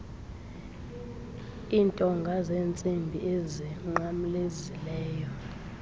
intonga zentsimbi ezinqamlezileyo